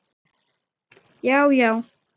Já já.